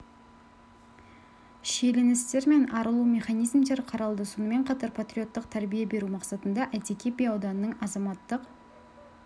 шиеленістер мен арылу механизмдері қаралды сонымен қатар патриоттық тәрбие беру мақсатында әйтеке би ауданының азаматтық